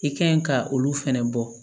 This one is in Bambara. I ka ɲi ka olu fɛnɛ bɔ